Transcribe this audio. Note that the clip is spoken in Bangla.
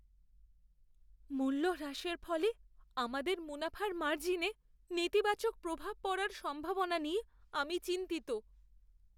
মূল্য হ্রাসের ফলে আমাদের মুনাফার মার্জিনে নেতিবাচক প্রভাব পড়ার সম্ভাবনা নিয়ে আমি চিন্তিত।